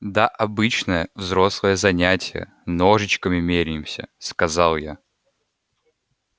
да обычное взрослое занятие ножичками меряемся сказал я